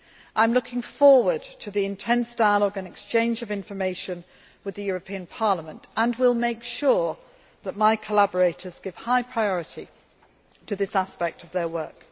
I am looking forward to the intense dialogue and exchange of information with the European Parliament and will make sure that my collaborators give high priority to this aspect of their work.